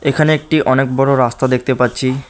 এখানে একটি অনেক বড়ো রাস্তা দেখতে পাচ্ছি।